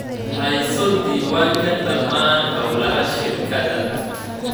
Hayso diiwaanka dhammaan hawlaha shirkadda.